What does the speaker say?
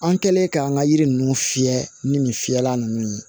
An kɛlen k'an ka yiri ninnu fiyɛ ni nin fiyɛla ninnu ye